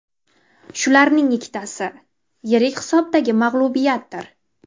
Shularning ikkitasi yirik hisobdagi mag‘lubiyatdir.